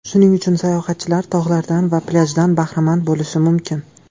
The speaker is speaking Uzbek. Shuning uchun sayohatchilar tog‘lardan va plyajdan bahramand bo‘lishi mumkin.